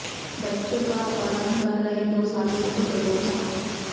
बच्चों का अपहरण कर रहे दो साधुओं को दबोचा